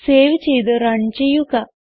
save ചെയ്ത് run ചെയ്യുക